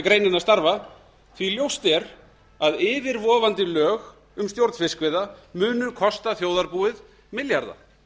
greinina starfa því ljóst er að yfirvofandi lög um stjórn fiskveiða munu kosta þjóðarbúið milljarða